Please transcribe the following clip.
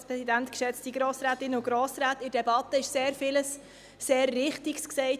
In der Debatte wurde sehr vieles, sehr Richtiges gesagt.